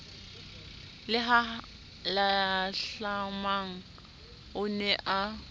le halahlamang o ne a